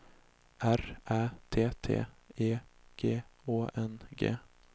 R Ä T T E G Å N G